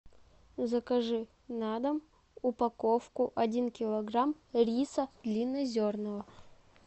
закажи на дом упаковку один килограмм риса длиннозерного